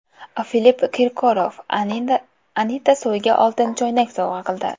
Filipp Kirkorov Anita Soyga oltin choynak sovg‘a qildi.